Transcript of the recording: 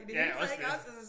Ja også det